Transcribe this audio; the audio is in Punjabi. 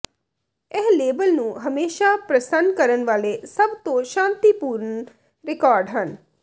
ਇਹ ਲੇਬਲ ਨੂੰ ਹਮੇਸ਼ਾਂ ਪ੍ਰਸੰਨ ਕਰਨ ਵਾਲੇ ਸਭ ਤੋਂ ਸ਼ਾਂਤੀਪੂਰਨ ਰਿਕਾਰਡ ਹਨ